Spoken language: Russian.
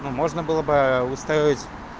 ну можно было бы устраивать